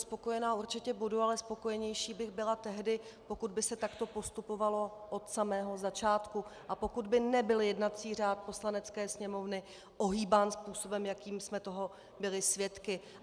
Spokojená určitě budu, ale spokojenější bych byla tehdy, pokud by se takto postupovalo od samého začátku a pokud by nebyl jednací řád Poslanecké sněmovny ohýbán způsobem, jakým jsme toho byli svědky.